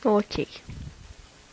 окей